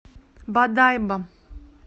бодайбо